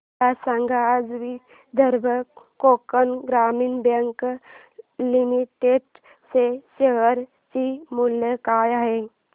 मला सांगा आज विदर्भ कोकण ग्रामीण बँक लिमिटेड च्या शेअर चे मूल्य काय आहे